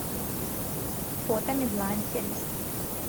фото медлайн сервис